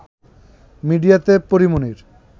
মিডিয়াতে পরী মনির